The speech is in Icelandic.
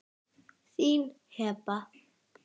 Þín Heba.